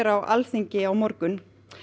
á Alþingi á morgun